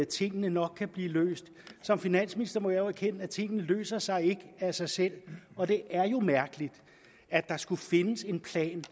tingene nok kan blive løst som finansminister må jeg jo erkende at tingene ikke løser sig af sig selv og det er jo mærkeligt at der skulle findes en plan